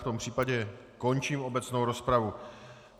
V tom případě končím obecnou rozpravu.